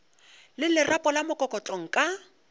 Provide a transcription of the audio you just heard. le lerapo la mokokotlo nka